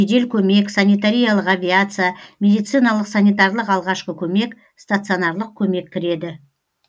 жедел көмек санитариялық авиация медициналық санитарлық алғашқы көмек станционарлық көмек кіреді